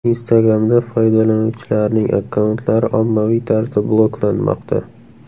Instagram’da foydalanuvchilarning akkauntlari ommaviy tarzda bloklanmoqda.